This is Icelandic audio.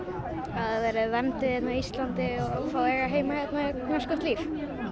að þau verði vernduð hérna á Íslandi og fái að eiga heima hérna og eignast gott líf